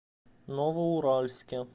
новоуральске